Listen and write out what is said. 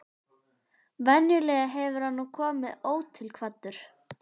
Venjulega hefur hann nú komið ótilkvaddur.